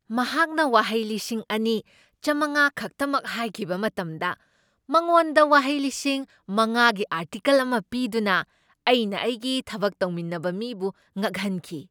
ꯃꯍꯥꯛꯅ ꯋꯥꯍꯩ ꯂꯤꯁꯤꯡ ꯑꯅꯤ ꯆꯥꯝꯃꯉꯥ ꯈꯛꯇꯃꯛ ꯍꯥꯏꯈꯤꯕ ꯃꯇꯝꯗ ꯃꯉꯣꯟꯗ ꯋꯥꯍꯩ ꯂꯤꯁꯤꯡ ꯃꯉꯥꯒꯤ ꯑꯥꯔꯇꯤꯀꯜ ꯑꯃ ꯄꯤꯗꯨꯅ ꯑꯩꯅ ꯑꯩꯒꯤ ꯊꯕꯛ ꯇꯧꯃꯤꯟꯅꯕ ꯃꯤꯕꯨ ꯉꯛꯍꯟꯈꯤ꯫